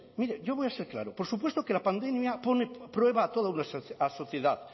mire yo voy a ser claro por supuesto que la pandemia pone a prueba a toda una sociedad